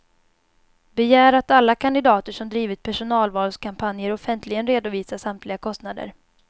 Begär att alla kandidater som drivit personvalskampanjer offentligen redovisar samtliga kostnader.